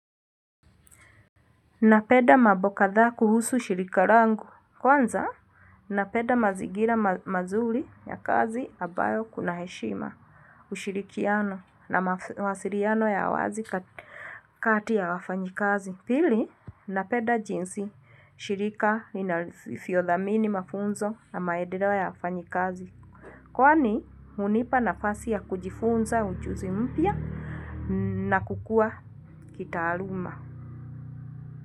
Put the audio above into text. Napenda mambo kadhaa kuhusu shirika langu. Kwanza, napenda mazingira mazuri ya kazi ambayo kuna heshima ushirikiano na masiliano ya wazi kati ya wafanyikazi. Pili, napenda jinsi shirika inavyo dhamini mafunzo na maendeleo ya wafanyikazi. Kwani, hunipa nafasi ya kujifunza ujuzi mpya na kukua kitaaluma.